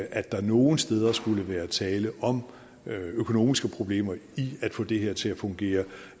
at der er nogen steder skulle være tale om økonomiske problemer i at få det her til at fungere